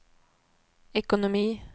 ekonomi